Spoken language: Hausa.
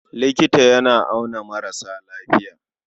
Likita yana auna maras lafiya.